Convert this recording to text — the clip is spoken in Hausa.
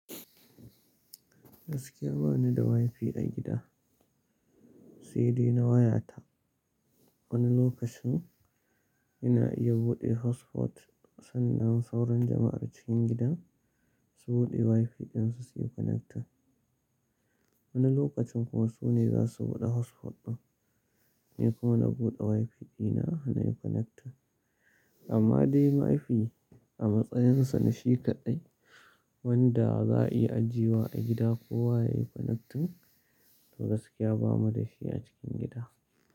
Gaskiya bani da Wi-Fi a gida, sai dai na wayata. Wani lokacin ina iya buɗe hotspot sannan sauran jama'ar cikin gidan su buɗe Wi-Fi ɗinsu suyi connecting. Wani lokacin kuma su ne za su buɗe hotspot ɗin, ni kuma na buɗe Wi-Fi dina har nayi connecting. Amma dai Wi-Fi a matsayinsa na shi kaɗai wanda za a iya ajiye wa a gida ko waya yayi connecting to gaskiya bamu da shi a cikin gida.